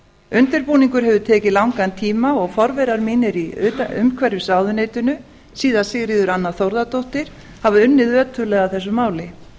undirbúningur hefur tekið langan tíma og forverar mínir í umhverfisráðuneytinu síðast sigríður anna þórðardóttir hafa unnið ötullega að þessu máli